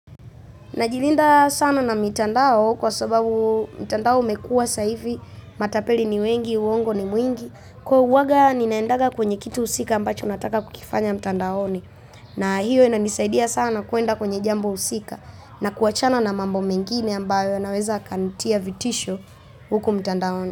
Najilinda sana na mitandao kwa sababu mtandao umekua saa, hivi matapeli ni wengi, uongo ni mwingi, kwa uwaga ninaendaga kwenye kitu husika ambacho nataka kukifanya mtandaoni. Na hiyo inanisaidia sana kuenda kwenye jambo husika na kuachana na mambo mengine ambayo yanaweza kanitia vitisho huku mtandaoni.